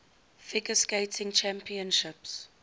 figure skating championships